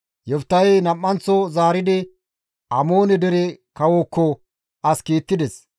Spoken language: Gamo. Yoftahey nam7anththo zaaridi Amoone dere kawookko as kiittides.